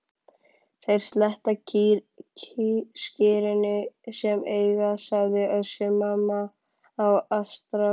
Þeir sletta skyrinu sem eiga, sagði Össur-Mamma á astralplaninu.